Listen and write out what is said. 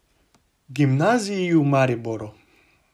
Gimnaziji v Mariboru.